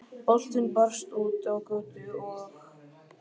Boltinn barst út á götu, og